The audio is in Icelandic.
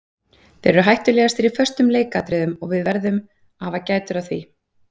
Þeir eru hættulegastir í föstum leikatriðum og við veðrum að hafa gætur á því.